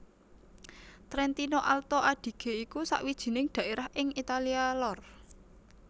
Trentino Alto Adige iku sawijining dhaerah ing Italia lor